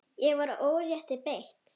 Ég var órétti beitt.